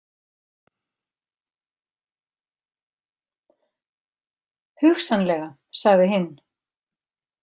Hugsanlega, sagði hinn.